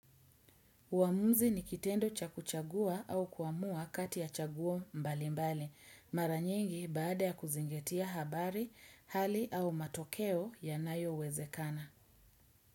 Uamuzi ni kitendo cha kuchagua au kuamua kati ya chagua mbali mbali. Mara nyingi baada ya kuzingatia habari, hali au matokeo yanayowezekana.